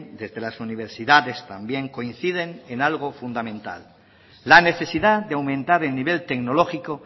desde las universidades también coinciden en algo fundamental la necesidad de aumentar el nivel tecnológico